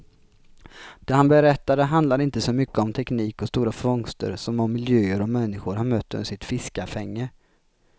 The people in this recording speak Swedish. Det han berättade handlade inte så mycket om teknik och stora fångster som om miljöer och människor han mött under sitt fiskafänge.